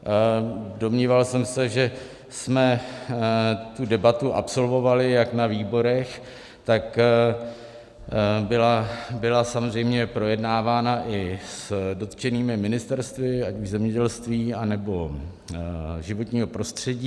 Domníval jsem se, že jsme tu debatu absolvovali jak na výborech, tak byla samozřejmě projednávána i s dotčenými ministerstvy, ať už zemědělství, anebo životního prostředí.